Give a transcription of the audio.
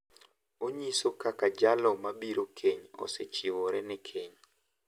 Onyiso kaka jalo mabiro keny osechiwore ne keny.